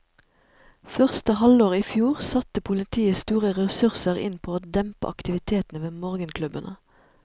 Første halvår i fjor satte politiet store ressurser inn på å dempe aktivitetene ved morgenklubbene.